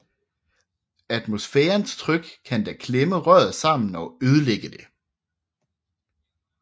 Atmosfærens tryk kan da klemme røret sammen og ødelægge det